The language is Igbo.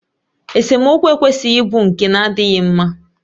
Esemokwu ekwesịghị ịbụ nke na-adịghị mma